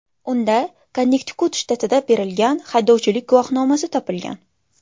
Unda Konnektikut shtatida berilgan haydovchilik guvohnomasi topilgan.